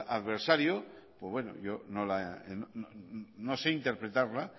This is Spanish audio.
adversario pues bueno yo no sé interpretarla